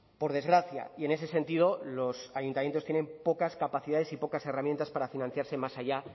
por desgracia y en ese sentido los ayuntamientos tienen pocas capacidades y pocas herramientas para financiarse más allá